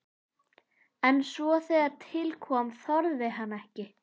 En svo þegar til kom þorði hann ekki.